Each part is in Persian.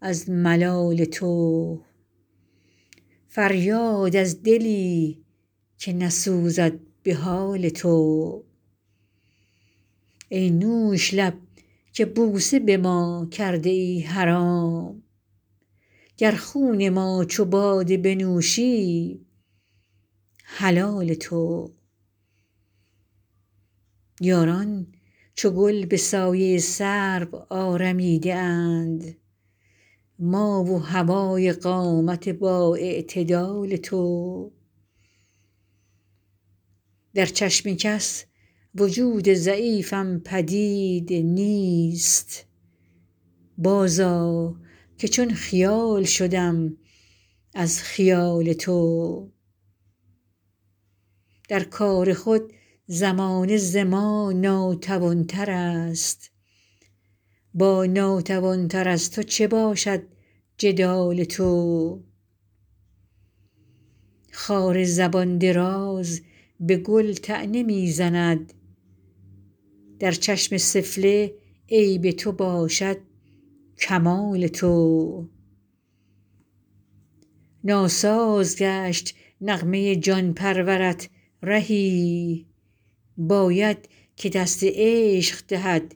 از ملال تو فریاد از دلی که نسوزد به حال تو ای نوش لب که بوسه به ما کرده ای حرام گر خون ما چو باده بنوشی حلال تو یاران چو گل به سایه سرو آرمیده اند ما و هوای قامت با اعتدال تو در چشم کس وجود ضعیفم پدید نیست باز آ که چون خیال شدم از خیال تو در کار خود زمانه ز ما ناتوان تر است با ناتوان تر از تو چه باشد جدال تو خار زبان دراز به گل طعنه می زند در چشم سفله عیب تو باشد کمال تو ناساز گشت نغمه جان پرورت رهی باید که دست عشق دهد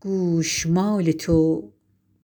گوشمال تو